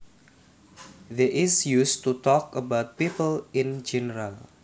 They is used to talk about people in general